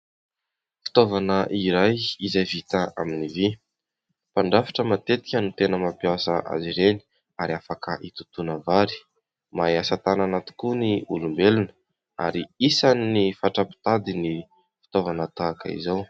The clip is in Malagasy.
Fitaovana iray izay vita amin'ny vy. Mpandrafitra matetika no tena mampiasa azy ireny ary afaka hitotoana vary. Mahay asa tanana tokoa ny olombelona ary isan'ny fatra-pitady ny fitaovana tahaka izao.